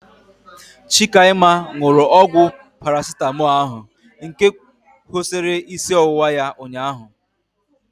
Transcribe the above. Chikaima nụrụ ọgwụ Parasitamọlu ahu nke kwụsịrị isi ọwụwa ya ụnyaahụ